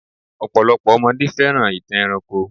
Ọ̀pọ̀lopọ̀ ọmọdé fẹ́ràn ìtàn ẹranko.